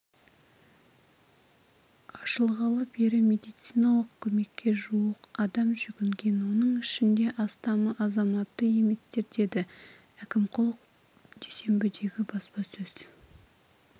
ашылғалы бері медициналық көмекке жуық адам жүгінген оның ішінде астамы азаматы еместер деді әкімқұлов дүйсенбідегі баспасөз